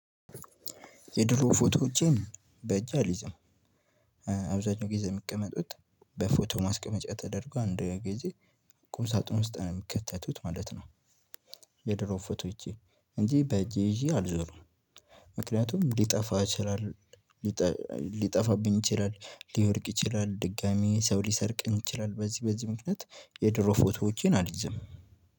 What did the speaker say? የድሮ ፎቶዎችን በእጅ አልይዝም። አብዛኛው ጊዜ የሚቀመጡት በፎቶ ማስቀመጫ ተደርጎ አንድ ጊዜ ቁም ሳጥን ውስጥ ነው የሚከተቱት ማለት ነው። የድሮ ፎቶ እጄ እንጂ በእጅ ይዤ አልዞርም። ምክንያቱም ሊጠፋ ይችላል ሊጠ ሊጠፋብኝ ይችላል ሊወድቅ ይችላል ድጋሚ ሰው ሊሰርቅኝ ይችላል በዚህ በዚህ ምክንያት። የድሮ ፎቶዎቼን አልይዝም።